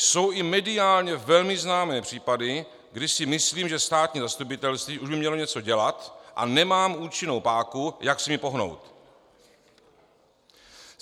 "Jsou i mediálně velmi známé případy, kdy si myslím, že státní zastupitelství už by mělo něco dělat, a nemám účinnou páku, jak s nimi pohnout.